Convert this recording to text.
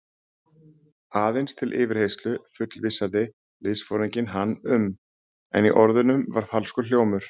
Aðeins til yfirheyrslu fullvissaði liðsforinginn hann um, en í orðunum var falskur hljómur.